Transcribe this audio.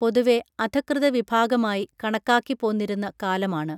പൊതുവേ അധഃകൃതവിഭാഗമായി കണക്കാക്കിപ്പോന്നിരുന്ന കാലമാണ്